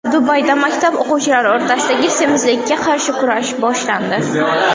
Dubayda maktab o‘quvchilari o‘rtasidagi semizlikka qarshi kurash boshlandi.